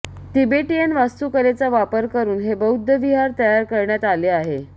Tibetan वास्तुकलेचा वापर करुन हे बौद्धविहार तयार करण्यात आले आहे